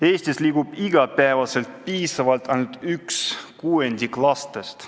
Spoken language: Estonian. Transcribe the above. Eestis liigub iga päev piisavalt ainult üks kuuendik lastest.